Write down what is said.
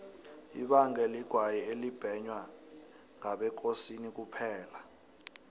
ibange ligwayi elibhenywa ngabekosini kuphela